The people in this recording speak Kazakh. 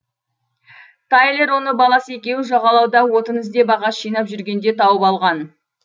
тайлер оны баласы екеуі жағалауда отын іздеп ағаш жинап жүргенде тауып алған